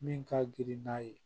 Min ka girin n'a ye